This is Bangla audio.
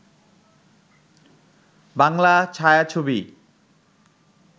বাংলা ছায়াছবি